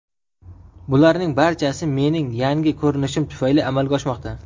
Bularning barchasi mening yangi ko‘rinishim tufayli amalga oshmoqda.